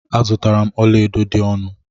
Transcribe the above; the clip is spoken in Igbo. Azutara m ọla edo dị ọnụ.